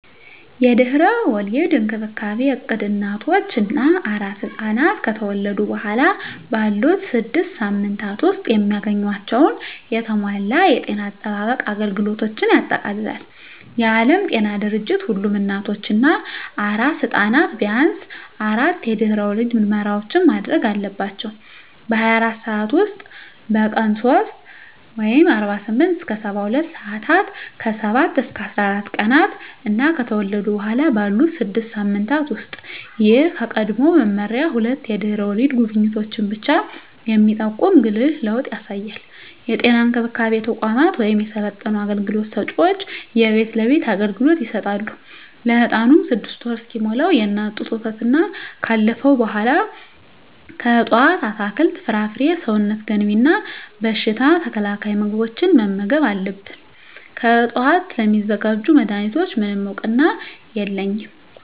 የድህረ ወሊድ እንክብካቤ እቅድ እናቶች እና አራስ ሕፃናት ከተወለዱ በኋላ ባሉት ስድስት ሳምንታት ውስጥ የሚያገኟቸውን የተሟላ የጤና አጠባበቅ አገልግሎቶችን ያጠቃልላል። የዓለም ጤና ድርጅት ሁሉም እናቶች እና አራስ ሕፃናት ቢያንስ አራት የድህረ ወሊድ ምርመራዎችን ማድረግ አለባቸው - በ24 ሰዓት ውስጥ፣ በቀን 3 (48-72 ሰአታት)፣ ከ7-14 ቀናት እና ከተወለዱ በኋላ ባሉት 6 ሳምንታት ውስጥ። ይህ ከቀድሞው መመሪያ ሁለት የድህረ ወሊድ ጉብኝቶችን ብቻ የሚጠቁም ጉልህ ለውጥ ያሳያል። የጤና እንክብካቤ ተቋማት ወይም የሰለጠኑ አገልግሎት ሰጭዎች የቤት ለቤት አገልግሎት ይሰጣሉ። ለህፃኑም 6ወር እስኪሞላው የእናት ጡት ወተትና ካለፈው በኃላ ከእፅዋት አትክልት፣ ፍራፍሬ ሰውነት ገንቢ እና በሽታ ተከላካይ ምግቦችን መመገብ አለብን። ከዕፅዋት ስለሚዘጋጁ መድኃኒቶች፣ ምንም እውቅና የለኝም።